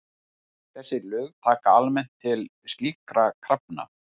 Þessi lög taka almennt til slíkra krafna.